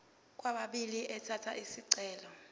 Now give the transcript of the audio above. kwababili elatha isicelo